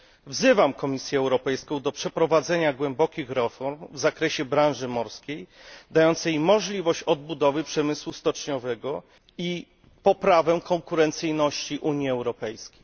Wzywam Komisję Europejską do przeprowadzenia głębokich reform w branży morskiej, dających możliwość odbudowy przemysłu stoczniowego i poprawy konkurencyjności Unii Europejskiej.